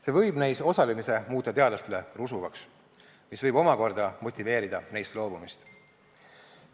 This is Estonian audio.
See võib neis osalemise muuta teadlastele rusuvaks, mis võib omakorda motiveerida neist loobumist.